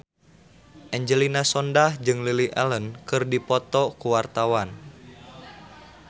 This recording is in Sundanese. Angelina Sondakh jeung Lily Allen keur dipoto ku wartawan